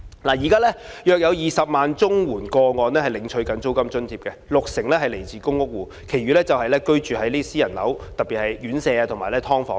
現時約有20萬宗綜援個案領取租金津貼，六成來自公屋戶，其餘則居於私人樓宇，特別是院舍或"劏房"。